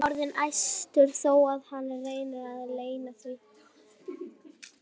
Hann er orðinn æstur þó að hann reyni að leyna því.